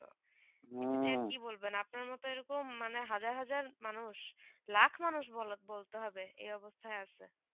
কি বলবেন আপনার মতন এরকম মানে হাজার হাজার মানুষ লাখ মানুষ বলতে হবে এই অবস্থায় আছে